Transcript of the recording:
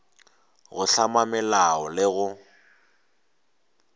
go hlama melao le go